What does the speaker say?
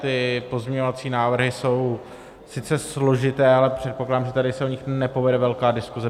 Ty pozměňovací návrhy jsou sice složité, ale předpokládám, že se tady o nich nepovede velká diskuze.